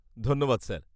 -ধন্যবাদ স্যার।